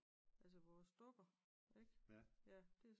Altså vores dukker ik?